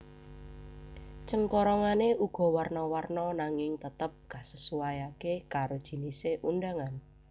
Cengkorongane uga warna warna nanging tetep kasesuaiake karo jinise undangan